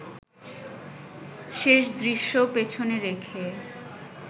শেষ দৃশ্য পেছনে রেখে